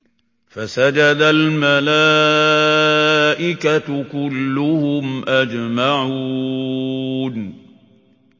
فَسَجَدَ الْمَلَائِكَةُ كُلُّهُمْ أَجْمَعُونَ